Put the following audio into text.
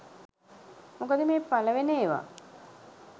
මොකද මේ පළවෙන ඒවා